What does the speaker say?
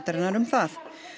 um það